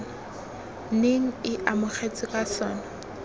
neng e amogetswe ka sona